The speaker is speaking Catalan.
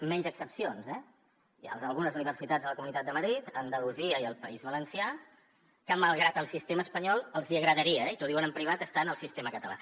menys excepcions eh hi ha algunes universitats a la comunitat de madrid a andalusia i al país valencià que malgrat el sistema espanyol els hi agradaria i t’ho diuen en privat estar en el sistema català